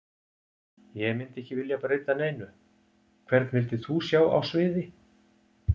Ég myndi ekki vilja breyta neinu Hvern vildir þú sjá á sviði?